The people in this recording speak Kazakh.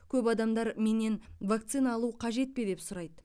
көп адамдар менен вакцина алу қажет пе деп сұрайды